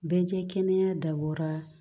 Bɛɛ kɛ kɛnɛya dabɔra